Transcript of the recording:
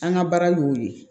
An ka baara y'o ye